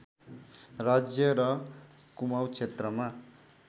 राज्य र कुमाउँ क्षेत्रमा